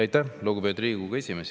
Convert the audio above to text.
Aitäh, lugupeetud Riigikogu esimees!